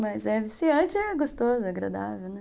Mas é viciante, é gostoso, é agradável, né?